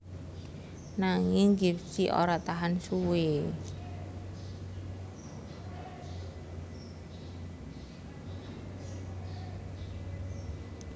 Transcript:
Nanging Gipsy ora tahan suwé